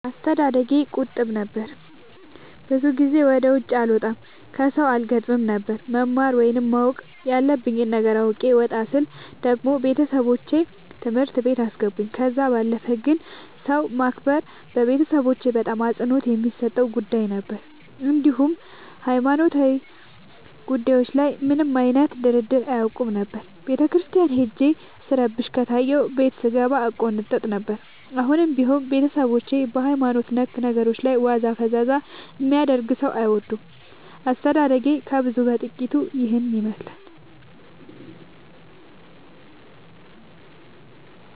አስተዳደጌ ቁጥብ ነበር። ብዙ ጊዜ ወደ ውጪ አልወጣም ከሠው አልገጥምም ነበር። መማር ወይም ማወቅ ያለብኝ ነገር አውቄ ወጣ ስል ደግሞ ቤተሠቦቼ ትምህርት ቤት አስገቡኝ። ከዛ ባለፈ ግን ሰው ማክበር ቤተሠቦቼ በጣም አፅንኦት የሚሠጡት ጉዳይ ነበር። እንዲሁም ሀይማኖታዊ ጉዳዮች ላይ ምንም አይነት ድርድር አያውቁም ነበር። ቤተክርስቲያን ሄጄ ስረብሽ ከታየሁ ቤት ስንገባ እቆነጠጥ ነበር። አሁንም ቢሆን ቤተሠቦቼ በሀይማኖት ነክ ነገሮች ላይ ዋዛ ፈዛዛ የሚያደርግ ሠው አይወዱም። አስተዳደጌ ከብዙው በጥቂቱ ይህን ይመሥላል።